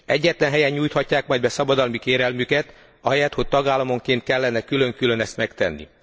Egyetlen helyen nyújthatják majd be szabadalmi kérelmüket ahelyett, hogy tagállamonként kellene külön külön ezt megtenni.